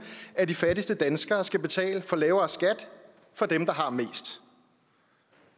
af de fattigste danskere skal betale for lavere skat for dem der har mest